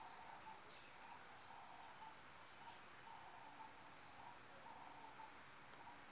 ke pac e e maleba